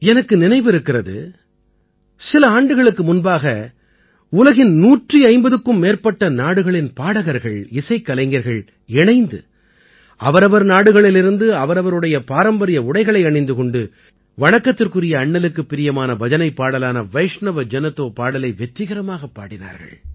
எனக்கு நினைவிருக்கிறது சில ஆண்டுகளுக்கு முன்பாக உலகின் 150க்கும் மேற்பட்ட நாடுகளின் பாடகர்கள்இசைக்கலைஞர்கள் இணைந்து அவரவர் நாடுகளிலிருந்து அவரவருடைய பாரம்பரிய உடைகளை அணிந்து கொண்டு வணக்கத்துக்குரிய அண்ணலுக்குப் பிரியமான பஜனைப் பாடலான வைஷ்ணவ ஜன தோ பாடலை வெற்றிகரமாகப் பாடினார்கள்